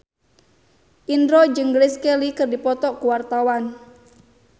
Indro jeung Grace Kelly keur dipoto ku wartawan